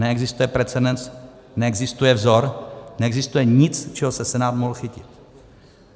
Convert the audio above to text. Neexistuje precedens, neexistuje vzor, neexistuje nic, čeho se Senát mohl chytit.